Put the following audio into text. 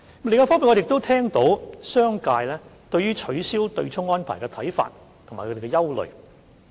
另一方面，我們亦聽到商界對於取消對沖安排的看法和憂慮。